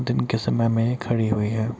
दिन के समय में ये खड़ी हुई है।